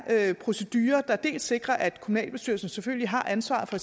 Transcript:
procedurer der sikrer at kommunalbestyrelsen selvfølgelig har ansvaret for